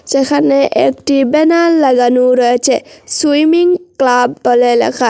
সেখানে একটি ব্যানার লাগানো রয়েছে সুইমিং ক্লাব বলে লেখা।